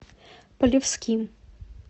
полевским